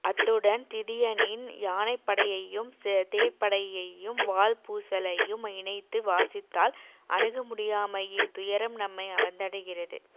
அத்துடன் திதியனின் யானைப்படையையும் தேர்ப்படையையும் வாள்பூசலையும் இணைத்து வாசித்தால் அணுகமுடியாமையின் துயரம் நம்மை வந்தடைகிறது